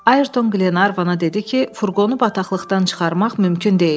Ayerton Qlenarvana dedi ki, furqonu bataqlıqdan çıxarmaq mümkün deyil.